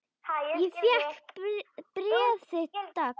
Ég fékk bréf þitt dags.